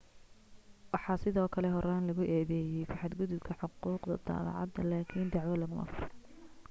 waxaa sidoo kale horaan lagu eedeeyay ku xad gudubka xuquuqda daabacaadda laakin dacwo laguma furin